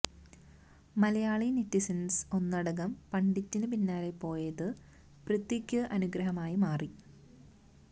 Malayali netizens ഒന്നടങ്കം പണ്ഡിറ്റിന് പിന്നാലെ പോയത് പൃഥ്വിയ്ക്ക് അനുഗ്രഹമായി മാറി